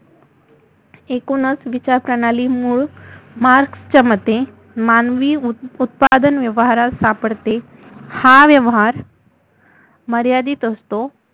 एकुणच विचारप्रणाली मुळ मार्क्सच्या मते मानवी उ उत्पादन व्यवहारात सापडते हा व्यवहार मर्यादित असतो